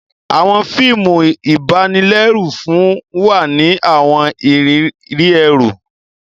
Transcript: Awọn fíìmù ibanilẹru fún wa ni awọn ìrírí ẹru.